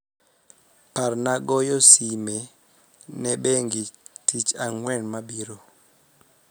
parna goyo sime ne bengi tich angwen mabiro